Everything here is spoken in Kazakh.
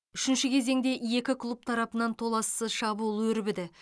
үшінші кезеңде екі клуб тарапынан тоалсыз шабуыл өрбіді